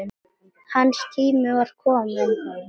Hans tími var kominn.